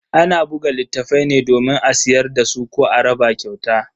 Ana buga littafai ne domin a siyar dasu ko a raba kyauta.